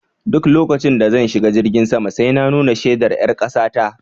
Duk lokacin da zan shiga jirgi sai na nuna shaidar ƴar kasa ta